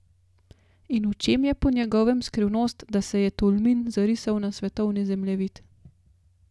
In v čem je po njegovem skrivnost, da se je Tolmin zarisal na svetovni zemljevid?